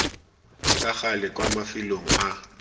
ka gale kwa mafelong a